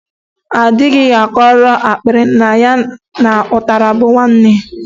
A dịghị akọrọ akpịrị na ya na ụtara bụ nwanne.